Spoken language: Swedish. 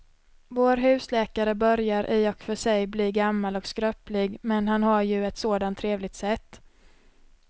Vår husläkare börjar i och för sig bli gammal och skröplig, men han har ju ett sådant trevligt sätt!